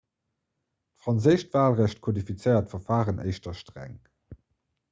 d'franséischt walrecht kodifiziert d'verfaren éischter streng